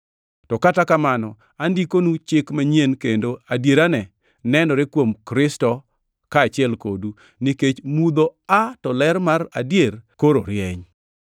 To kata kamano, andikonu chik manyien kendo adierane nenore kuom Kristo kaachiel kodu, nikech mudho aa to ler mar adier koro rieny.